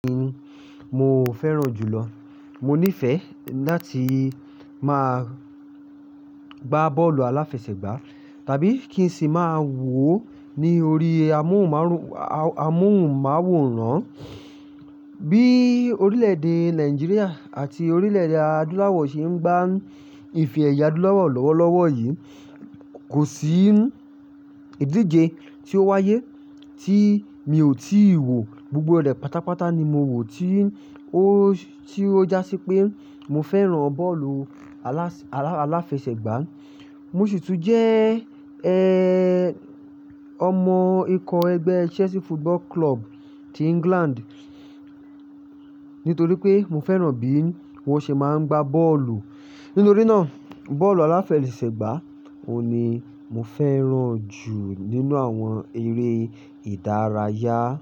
Mo fẹ́ràn jùlọ. Mo nífẹ̀ẹ́ láti máa gbá bọ́ọ̀lù aláfẹsẹ̀gbá tàbí kí n sì máa wò ó ní orí amóhùnmáwòrán. Bí orílẹ̀-èdè Nigeria àti orílẹ̀-èdè àdúláwọ̀ ṣe ń gbá ìfẹ́ ìyádu láwọ̀ lọ́wọ́lọ́wọ́ yìí, kò sí ìdíje tí ó wáyé tí mi ò tíì wò. Gbogbo rẹ̀ pátápátá ni mo wò tí ó, tí ó jásí pé mo fẹ́ràn bọ́ọ̀lù alás, aláfẹsẹ̀gbá. Mo sì tún jẹ́, ọmọ ikọ̀ ẹgbẹ́ Chelsea Football Club ti England nítorí pé mo fẹ́ràn bí wọ́n ṣe máa ń gbá bọ́ọ̀lù. Nítori náà, bọ́ọ̀lù aláfẹsẹ̀gbá òun ni mo fẹ́ràn jù nínú àwọn eré ìdárayá.